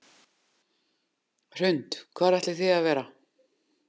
Hrund: Hvar ætlið þið að vera?